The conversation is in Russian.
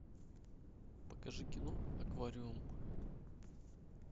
покажи кино аквариум